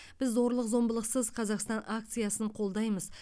біз зорлық зомбылықсыз қазақстан акциясын қолдаймыз